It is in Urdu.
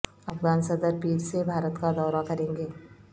افغان صدر پیر سے بھارت کا دورہ کریں گے